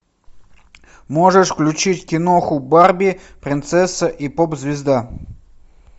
можешь включить киноху барби принцесса и поп звезда